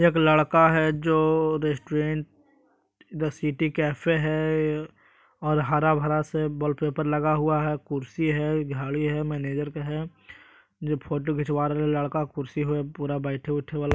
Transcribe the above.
एक लड़का जो रेस्टुरेंट दा सिटी कैफ़े हे और हरा भरा सा वॉलपेपर लगा हुआ हे कुर्सी हे घड़ी हे मनेजर हये जो फोटो खिचवा रहेल हे लड़का कुर्सी पे पुरा बइठे उठै वाला --